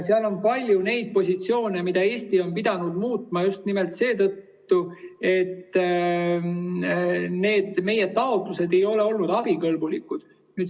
Seal on palju neid positsioone, mida Eesti on pidanud muutma just nimelt seetõttu, et meie taotlused ei ole olnud abikõlblikud.